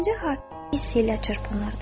Gəncə hissə ilə çırpınırdı.